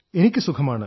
എനിക്കു സുഖമാണ്